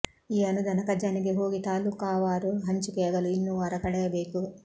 ಈ ಅನುದಾನ ಖಜಾನೆಗೆ ಹೋಗಿ ತಾಲೂಕಾವಾರು ಹಂಚಿಕೆಯಾಗಲು ಇನ್ನೂ ವಾರ ಕಳೆಯಬೇಕು